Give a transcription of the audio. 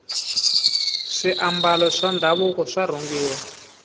swiambalo swa ndhavuko swa rhungiwa